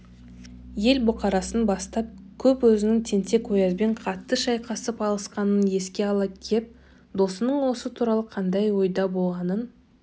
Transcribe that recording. ел бұқарасын бастап кеп өзінің тентек-оязбен қатты шайқасып алысқанын еске ала кеп досының осы туралы қандай ойда болғанын